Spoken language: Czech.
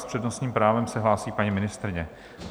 S přednostním právem se hlásí paní ministryně.